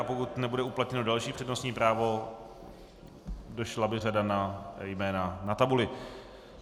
A pokud nebude uplatněno další přednostní právo, došla by řada na jména na tabuli.